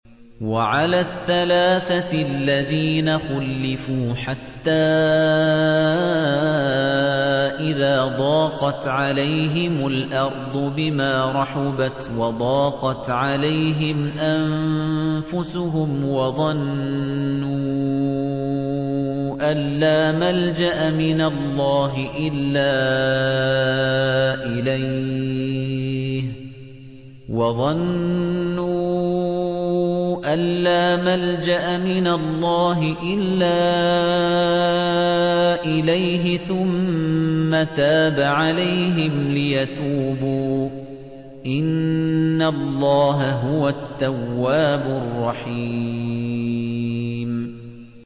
وَعَلَى الثَّلَاثَةِ الَّذِينَ خُلِّفُوا حَتَّىٰ إِذَا ضَاقَتْ عَلَيْهِمُ الْأَرْضُ بِمَا رَحُبَتْ وَضَاقَتْ عَلَيْهِمْ أَنفُسُهُمْ وَظَنُّوا أَن لَّا مَلْجَأَ مِنَ اللَّهِ إِلَّا إِلَيْهِ ثُمَّ تَابَ عَلَيْهِمْ لِيَتُوبُوا ۚ إِنَّ اللَّهَ هُوَ التَّوَّابُ الرَّحِيمُ